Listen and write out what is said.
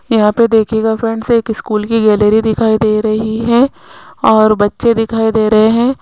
यहां पर देखिएगा फ्रेंड्स एक स्कूल की गैलरी दिखाई दे रही है और बच्चे दिखाई दे रहे हैं।